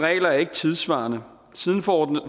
er ikke tidssvarende siden forordning